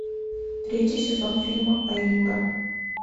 третий сезон фильма аюра